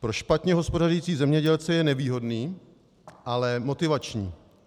Pro špatně hospodařící zemědělce je nevýhodný, ale motivační.